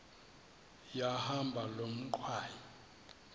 yahamba loo ngxwayi